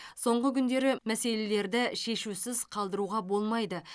соңғы күндері мәселелерді шешусіз қалдыруға болмайды